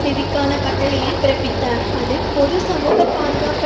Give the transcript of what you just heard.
நிதிக்கான கட்டளையை பிறப்பித்தார் அது பொது சமூக பாதுகாப்பு